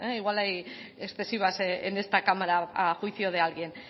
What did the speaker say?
igual hay excesivas en esta cámara a juicio de alguien